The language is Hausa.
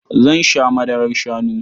Zan sha madarar shanu.